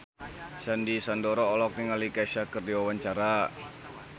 Sandy Sandoro olohok ningali Kesha keur diwawancara